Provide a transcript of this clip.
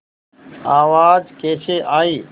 आवाज़ कैसे आई